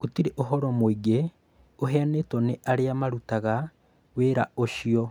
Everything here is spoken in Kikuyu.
Gũtirĩ ũhoro mũingĩ ũheanĩtwo nĩ arĩa marutaga wĩra ũcio